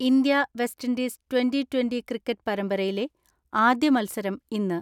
India West Indies twenty twenty cricket പരമ്പരയിലെ ആദ്യ മത്സരം ഇന്ന്.